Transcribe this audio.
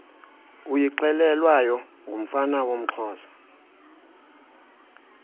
uyixelelwayo ngumfana woomxhosa